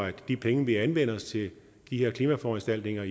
at de penge vi anvender til de her klimaforanstaltninger